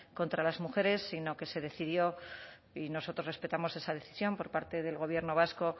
contra las mujeres sino que se decidió y nosotros respetamos esa decisión por parte del gobierno vasco